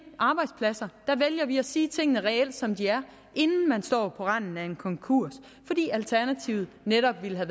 arbejdspladser der vælger vi at sige tingene reelt som de er inden man står på randen af en konkurs fordi alternativet netop ville være